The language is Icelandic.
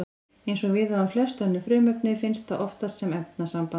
Eins og við á um flest önnur frumefni finnst það oftast sem efnasamband.